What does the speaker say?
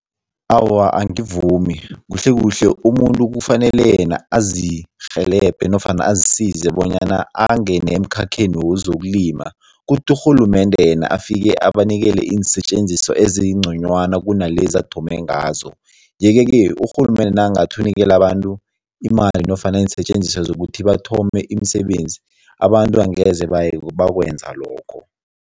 Awa, angivumi. Kuhlekuhle umuntu kufanele yena azirhelebhe nofana azisize bonyana angene emkhakheni wezokulima, kuthi urhulumende yena afike abanikele iinsetjenziswa ezingconywana kunalezi athome ngazo yeke-ke urhulumende nakangathi unikela abantu imali nofana iinsetjenziswa zokuthi bathome imisebenzi, abantu angeze bakwenza lokho.